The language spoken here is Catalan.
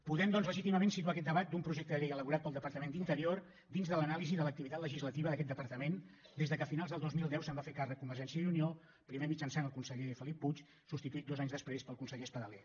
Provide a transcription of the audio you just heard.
podem doncs legítimament situar aquest debat d’un projecte de llei elaborat pel departament d’interior dins de l’anàlisi de l’activitat legislativa d’aquest departament des que a finals del dos mil deu se’n va fer càrrec convergència i unió primer mitjançant el conseller felip puig substituït dos anys després pel conseller espadaler